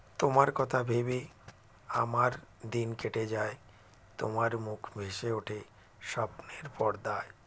তোমার কথা ভেবে আমার দিন কেটে যায় তোমার মুখ ভেসে ওঠে স্বপ্নের পর্দায়